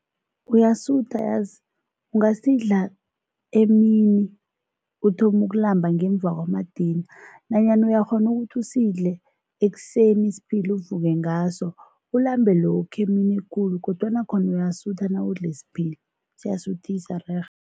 Uyasutha yazi, ungasidla emini uthome ukulamba ngemva kwamadina nanyana uyakghona ukuthi usidle ekuseni isiphila, uvuke ngaso, ulambe lokha emini ekulu kodwana khona uyasutha nawudle isiphila, siyasuthisa rerhe.